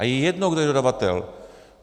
A je jedno, kdo je dodavatel.